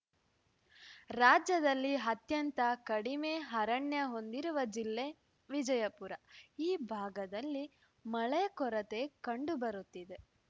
ರಾಜ್ಯದಲ್ಲಿ ಅತ್ಯಂತ ಕಡಿಮೆ ಅರಣ್ಯ ಹೊಂದಿರುವ ಜಿಲ್ಲೆ ವಿಜಯಪುರ ಈ ಭಾಗದಲ್ಲಿ ಮಳೆ ಕೊರತೆ ಕಂಡು ಬರುತ್ತಿದೆ